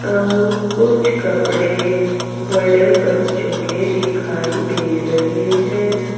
अउर कुछ कपड़े बड़े बच्चों के दिखाई दे रहे हैं।